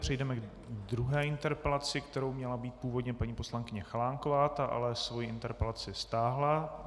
Přejdeme k druhé interpelaci, kterou měla mít původně paní poslankyně Chalánková, ta ale svoji interpelaci stáhla.